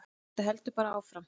Þetta heldur bara áfram.